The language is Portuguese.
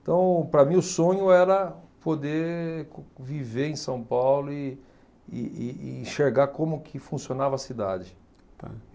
Então, para mim, o sonho era poder viver em São Paulo e e e e enxergar como que funcionava a cidade. Tá